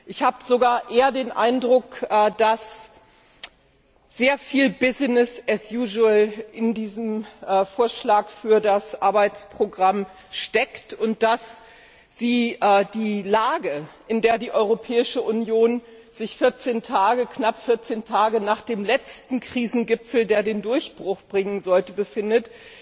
Ich habe sogar eher den Eindruck, dass sehr viel in diesem Vorschlag für das Arbeitsprogramm steckt und dass Sie der Lage, in der die Europäische Union sich knapp 14 Tage nach dem letzten Krisengipfel, der den Durchbruch bringen sollte, befindet,